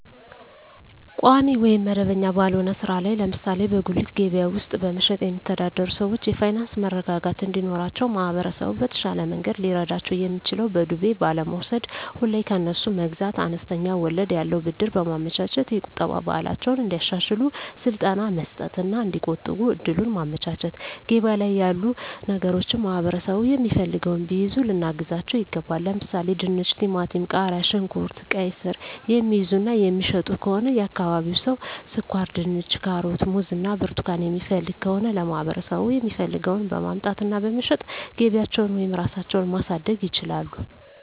ቋሚ ወይም መደበኛ ባልሆነ ሥራ ላይ ለምሳሌ በጉሊት ገበያ ውስጥ በመሸጥየሚተዳደሩ ሰዎች የፋይናንስ መረጋጋት እንዲኖራቸው ማህበረሰቡ በተሻለ መንገድ ሊረዳቸው የሚችለው በዱቤ ባለመውስድ፤ ሁሌ ከነሱ መግዛት፤ አነስተኛ ወለድ ያለው ብድር በማመቻቸት፤ የቁጠባ ባህላቸውን እንዲያሻሽሉ ስልጠና መስጠት እና እዲቆጥቡ እድሉን ማመቻቸት፤ ገበያ ላይ ያሉ ነገሮችን ማህበረሠቡ የሚፈልገውን ቢይዙ ልናግዛቸው ይገባል። ለምሣሌ፦፤ ድንች፤ ቲማቲም፤ ቃሪያ፣ ሽንኩርት፤ ቃይስር፤ የሚይዙ እና የሚሸጡ ከሆነ የአካባቢው ሠው ስኳርድንች፤ ካሮት፤ ሙዝ እና ብርቱካን የሚፈልግ ከሆነ ለማህበረሰቡ የሚፈልገውን በማምጣት እና በመሸጥ ገቢያቸውን ወይም ራሳቸው ማሣደግ ይችላሉ።